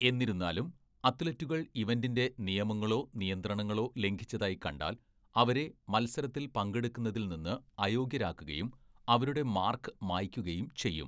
എന്നിരുന്നാലും, അത്‌ലറ്റുകൾ ഇവന്റിന്റെ നിയമങ്ങളോ നിയന്ത്രണങ്ങളോ ലംഘിച്ചതായി കണ്ടാൽ, അവരെ മത്സരത്തിൽ പങ്കെടുക്കുന്നതിൽ നിന്ന് അയോഗ്യരാക്കുകയും അവരുടെ മാർക്ക് മായ്‌ക്കുകയും ചെയ്യും.